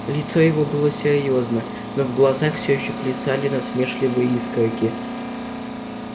лицо его было серьёзно но в глазах всё ещё плясали насмешливые искорки